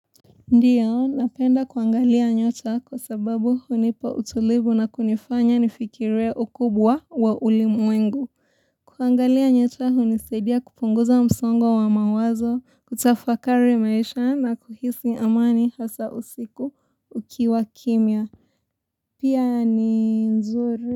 Ndio, napenda kuangalia nyota kwa sababu hunipa utulivu na kunifanya nifikirie ukubwa wa ulimwengu. Kuangalia nyota hunisaidia kupunguza msongo wa mawazo, kutafakari maisha na kuhisi amani hasa usiku ukiwa kimya. Pia ni nzuri.